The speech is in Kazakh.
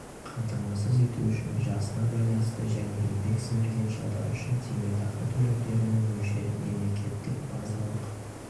қамтамасыз ету үшін жасына байланысты және еңбек сіңірген жылдары үшін зейнетақы төлемдерінің мөлшері мемлекеттік базалық